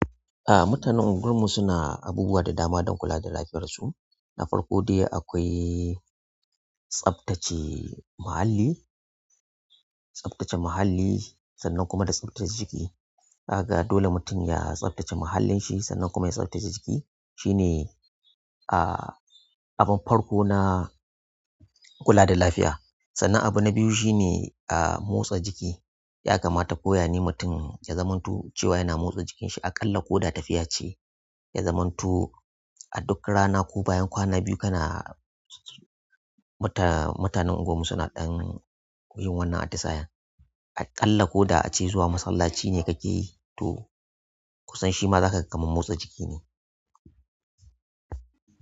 Ah mutanen anguwar mu suna abubuwa da dama don kula da lafiyar su. Na farko dai akwai tsaftace muhalli, tsaftace muhalli sannan kuma da tsaftace jiki. Ga dole mutum ya tsaftace muhallin shi sannan kuma ya tsaftace jiki. Shi ne ah abin farko na kula da lafiya. Sannan abu na biyu shi ne a motsa jiki. Ya kamata ko ya ne mutum ya zamanto cewa yana motsa jikin shi aƙalla ko da tafiya ce, ya zamanto a duk rana ko bayan kwana biyu kana mutan--mutanen anguwar mu suna ɗan yin wannan atisayan. Aƙalla ko da a ce zuwa masallaci ne kake yi to kusan shima zaka ga kaman motsa jiki ne.